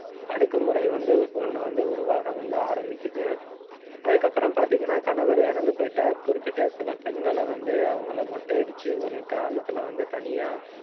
அடக்குமுறை வந்து, ஒண்ணு வந்து உருவாக வந்து ஆரம்பிக்குது. அதுக்கப்புறம் பார்த்தீங்கன்னா, கணவர் இறந்து போயிட்டா குறிப்பிட்ட சில பெண்களை வந்து, அவங்களை மொட்டையடிச்சு ஒரு கிராமத்துல வந்து தனியா